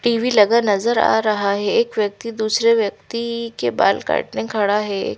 TV लगा नजर आ रहा है एक व्यक्ति दूसरे व्यक्ति के बाल काटने खड़ा है।